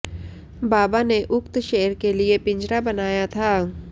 बाबा ने उक्त शेर के लिए पिंजरा बनाया था